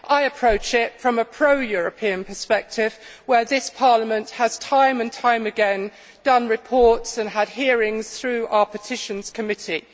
I approach it from a pro European perspective, where this Parliament has, time and time again, done reports and had hearings through our Petitions Committee.